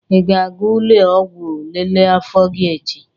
Ị ga-aga ụlọ ọgwụ lelee afọ gị echi?